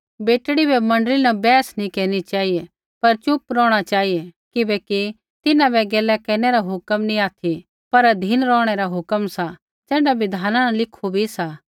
बेटड़ी बै मण्डली न बैंहस नैंई केरनी चेहिऐ पर च़ुप रौहणा चेहिऐ किबैकि तिन्हां बै गैला केरनै रा हुक्म नी ऑथि पर अधीन रौहणै रा हुक्म सा ज़ैण्ढा बिधान न लिखु भी सा